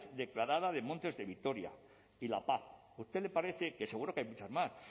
declarada de montes de vitoria y la a usted le parece que seguro que hay muchas más